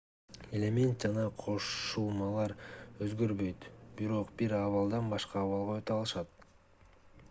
элемент жана кошулмалар өзгөрбөйт бирок бир абалдан башка абалга өтө алышат